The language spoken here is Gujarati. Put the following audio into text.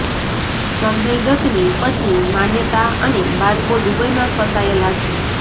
સંજય દત્તની પત્ની માન્યતા અને બાળકો દુબઈમાં ફસાયેલા છે